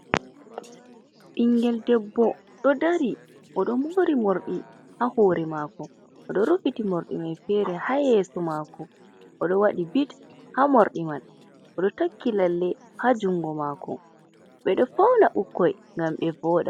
Ɓingel debbo oɗo dari, oɗo mori morɗi ha hore mako, oɗo rufiti morɗi man fere ha yeso mako oɗo waɗi bit ha morɗi man oɗo takki lalle ha jungo mako ɓeɗo fauna bukkoi ngam ɓe voɗa.